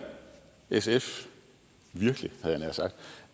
sf virkelig havde